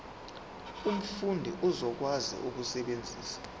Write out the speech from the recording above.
umfundi uzokwazi ukusebenzisa